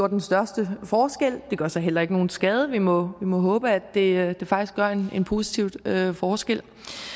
den største forskel det gør så heller ikke nogen skade vi må må håbe at det faktisk gør en positiv forskel